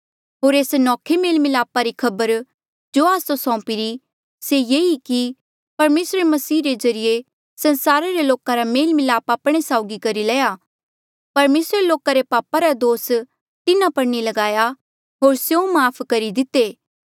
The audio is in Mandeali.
होर एस नौखे मेल मिलापा री खबर जो आस्सो सौंपीरी से ये ई कि परमेसरे मसीह रे ज्रीए संसारा रे लोका रा मेल मिलाप आपणे साउगी करी लया परमेसरे लोका रे पापा रा दोस तिन्हा पर नी ल्गाया होर स्यों माफ़ करी दिते